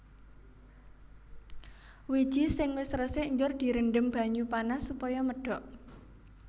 Wiji sing wis resik njur direndhem banyu panas supaya medhok